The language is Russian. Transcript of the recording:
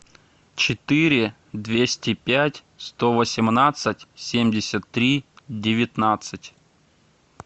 четыре двести пять сто восемнадцать семьдесят три девятнадцать